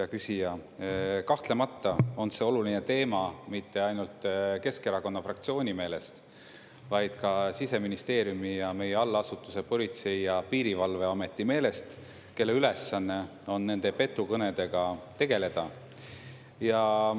Hea küsija, kahtlemata on see oluline teema mitte ainult Keskerakonna fraktsiooni meelest, vaid ka Siseministeeriumi ja meie allasutuse Politsei- ja Piirivalveameti meelest, kelle ülesanne on nende petukõnedega tegeleda.